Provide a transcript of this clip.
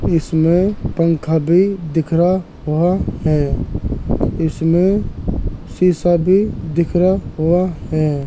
इसमें पंखा भी दिख रहा हुआ है। इसमें शीशा भी दिख रहा हुआ है।